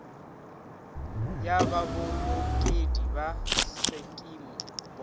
ya babolokedi ba sekimo bot